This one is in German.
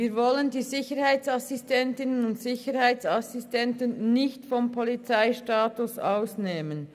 Wir wollen die Sicherheitsassistentinnen und Sicherheitsassistenten nicht vom Polizeistatus ausnehmen.